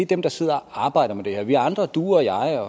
dem der sidder og arbejder med det her vi andre du og jeg